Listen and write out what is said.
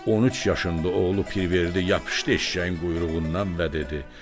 13 yaşında oğlu Pirverdi yapışdı eşşəyin quyruğundan və dedi: